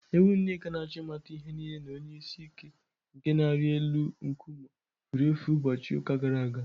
Ewu Nneka na-achọ ịmata ihe nile na onye isi ike nke na-arị na elu nkume efuru efu ụbọchị ụka gara aga